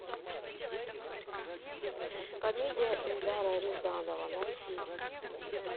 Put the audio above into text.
комедия эльдара рязанова найти